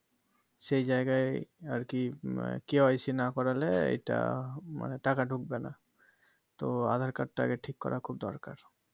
সেই জায়গায় আরকি KYC না করলে এইটা মানে টাকা ঢুকবেনা তো আধার কার্ড টা আগে ঠিক করা খুব দরকার